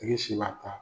I si b'a ta